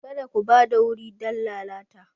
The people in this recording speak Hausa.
Kada ku ba da wuri don lalata!